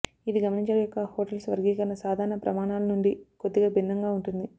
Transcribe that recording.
ఇది గమనించాలి యొక్క హోటల్స్ వర్గీకరణ సాధారణ ప్రమాణాలు నుండి కొద్దిగా భిన్నంగా ఉంటుంది